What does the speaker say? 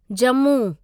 Jammu